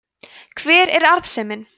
hver er arðsemin